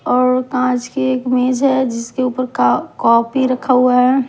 और काँच की एक मेज है जिसके ऊपर का कॉपी रखा हुआ है।